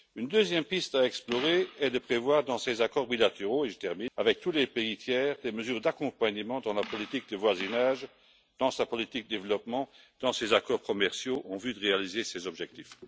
Une deuxième piste à explorer est de prévoir dans ces accords bilatéraux, avec tous les pays tiers, des mesures d'accompagnement dans la politique de voisinage, dans sa politique de développement, dans ses accords commerciaux, en vue de réaliser ces objectifs.